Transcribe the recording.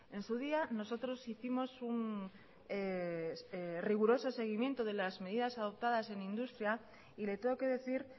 en su día nosotros hicimos un riguroso seguimiento de las medidas adoptadas en industria y le tengo que decir